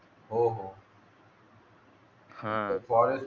हो हो ते फॉरेस्ट